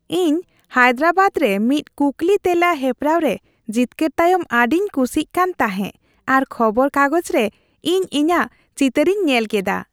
ᱤᱧ ᱦᱟᱭᱫᱨᱟᱵᱟᱫ ᱨᱮ ᱢᱤᱫ ᱠᱩᱠᱞᱤᱼᱛᱮᱞᱟ ᱦᱮᱯᱨᱟᱣ ᱨᱮ ᱡᱤᱛᱠᱟᱹᱨ ᱛᱟᱭᱚᱢ ᱟᱹᱰᱤᱧ ᱠᱩᱥᱤᱜ ᱠᱟᱱ ᱛᱟᱦᱮᱸᱜ ᱟᱨ ᱠᱷᱚᱵᱚᱨ ᱠᱟᱜᱯᱡ ᱨᱮ ᱤᱧ ᱤᱧᱟᱹᱜ ᱪᱤᱛᱟᱹᱨᱤᱧ ᱧᱮᱞ ᱠᱮᱫᱟ ᱾